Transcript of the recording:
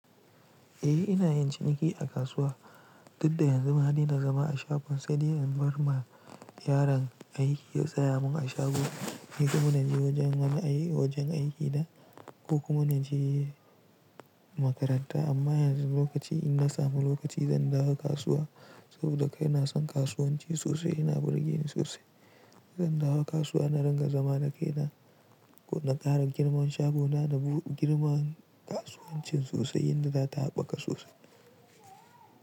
Eh ina yin ciniki a kasuwa, duk da yanzu manadaina zama a shagon sani in bar ma yaron aiki ya tsaya mun a shago. Ni kuma naje wajen aiki da ko kuma naje makaranta amma yanzu lokaci in na samu lokaci zan dawo kasuwa saboda kai na san kasuwanci sosai yana burge ni sosai. Zan dawo kasuwa na dinga zama da kaina ko na ƙara girman shagona na girma kasuwancin sosai yadda zata haɓaka sosai.